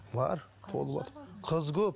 бар толыватыр қыз көп